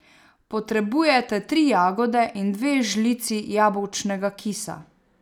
Potrebujete tri jagode in dve žlici jabolčnega kisa.